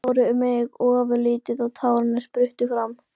Tilfinningarnar báru mig ofurliði og tárin spruttu fram.